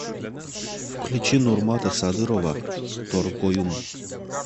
включи нурмата садырова торгоюм